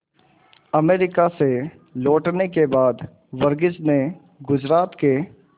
America से लौटने के बाद वर्गीज ने गुजरात के